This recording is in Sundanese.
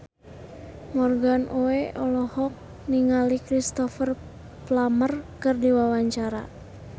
Morgan Oey olohok ningali Cristhoper Plumer keur diwawancara